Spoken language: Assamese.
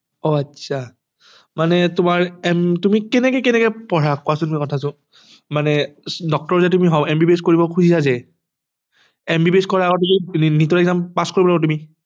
অহ আচ্ছা মানে তোমাৰ তুমি কেনেকে কেনেকে পঢ়া কোৱাছোন কথাটো মানে Doctor যে তুমি MBBS কৰিব খুজিছা যে MBBS কৰাৰ আগতে তো NEET ৰ exam pass কৰিব লাগিব তুমি